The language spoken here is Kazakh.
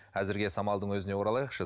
әзірге самалдың өзіне оралайықшы